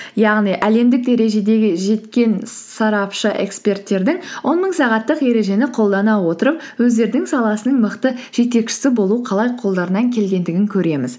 яғни әлемдік дәрежедегі жеткен сарапшы эксперттердің он мың сағаттық ережені қолдана отырып өздерінің саласының мықты жетекшісі болу қалай қолдарынан келгендігін көреміз